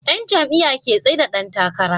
Yan jam'iya ke tsaida Dan takara